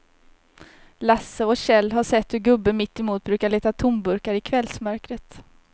Lasse och Kjell har sett hur gubben mittemot brukar leta tomburkar i kvällsmörkret.